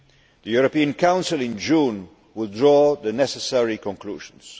The European Council in June will draw the necessary conclusions.